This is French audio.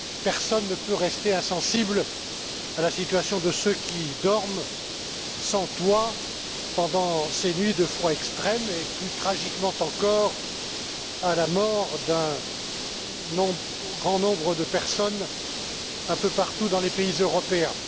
Personne ne peut rester insensible à la situation de ceux qui dorment sans toit pendant ces nuits de froid extrême et, plus tragiquement encore, à la mort d'un grand nombre de personnes un peu partout dans les pays européens.